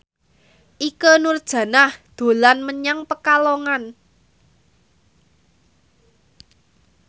Ikke Nurjanah dolan menyang Pekalongan